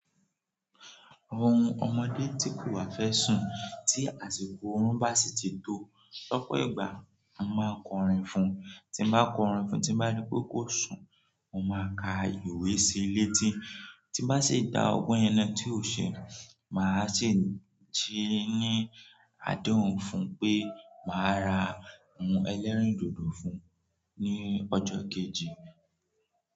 Ohun ọmọdé tí kò wa fẹ́ sùn tí àsìkò ọ̀rún bá sì ti tó, ló pọ̀ ìgbà, mo máa kọrin fún un. Tí mo bá kọrin fún un tí n bá ní pé kó sùn, mo máa ka ìwé sílé tí, tí n bá sì dá ọgbọ́n yẹn nà tí ò ṣe, màá sì se ní adehùn fún un pé màá ra ohun ẹlẹ́rìndòdò fún un ní ọjọ́ kejì.